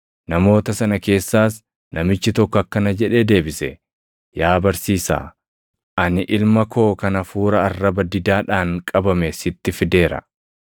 Namoota sana keessaas namichi tokko akkana jedhee deebise; “Yaa barsiisaa, ani ilma koo kan hafuura arraba didaadhaan qabame sitti fideera.